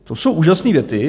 To jsou úžasné věty.